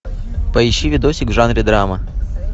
поищи видосик в жанре драма